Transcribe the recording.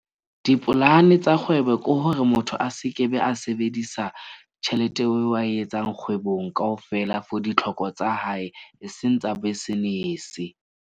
Dipolane tsa kgwebo ke hore motho a se ke be a sebedisa tjhelete eo a e etsang kgwebong kaofela for ditlhoko tsa hae, e seng tsa business-e.